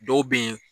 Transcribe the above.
Dɔw be yen